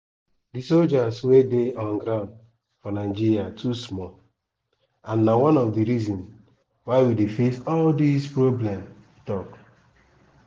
"di soldiers wey dey on ground for nigeria too small and na one of di reason why we dey face all dis problems" e tok.